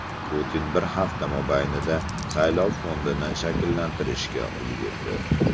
Putin bir hafta mobaynida saylov fondini shakllantirishga ulgurdi.